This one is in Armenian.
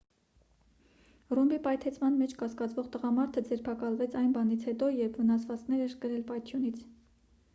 ռումբի պայթեցման մեջ կասկածվող տղամարդը ձերբակալվեց այն բանից հետո երբ վնասվածքներ էր կրել պայթյունից